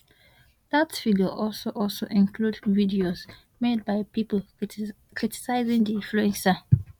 that figure also also includes videos made by people criticising the influencer